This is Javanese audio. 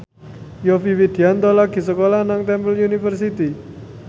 Yovie Widianto lagi sekolah nang Temple University